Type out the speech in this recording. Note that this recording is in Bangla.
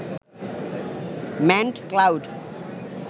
manned cloud